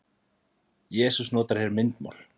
Jesús notar hér myndmál.